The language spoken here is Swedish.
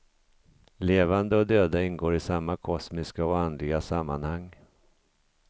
Levande och döda ingår i samma kosmiska och andliga sammanhang.